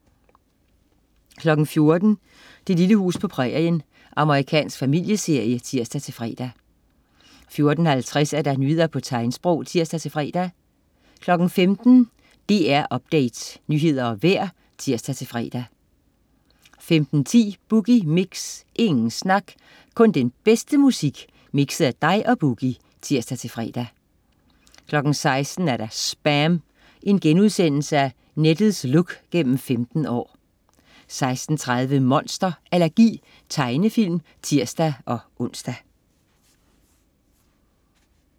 14.00 Det lille hus på prærien. Amerikansk familieserie (tirs-fre) 14.50 Nyheder på tegnsprog (tirs-fre) 15.00 DR Update. Nyheder og vejr (tirs-fre) 15.10 Boogie Mix. Ingen snak, kun den bedste musik, mixet af dig og Boogie (tirs-fre) 16.00 SPAM. Nettets look gennem 15 år* 16.30 Monster allergi. Tegnefilm (tirs-ons)